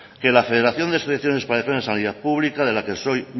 que la federación de asociaciones para defensa de la sanidad pública de la que soy